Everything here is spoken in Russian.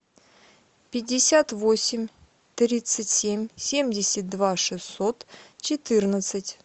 пятьдесят восемь тридцать семь семьдесят два шестьсот четырнадцать